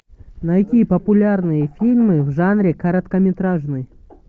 найти популярные фильмы в жанре короткометражный